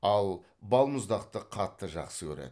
ал балмұздақты қатты жақсы көреді